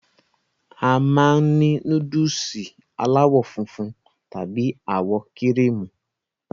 A máa n ni núdùùsì alàwọ funfun tàbí àwọ kíríímù